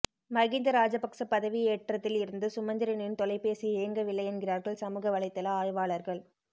மகிந்த ராஜபக்ச பதவி ஏற்றதில் இருந்து சுமந்திரனின் தொலைபேசி இயங்கவில்லை என்கிறார்கள் சமுக வலைத்தள ஆய்வாளர்கள்